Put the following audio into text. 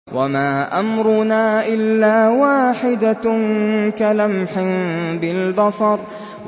وَمَا أَمْرُنَا إِلَّا وَاحِدَةٌ كَلَمْحٍ بِالْبَصَرِ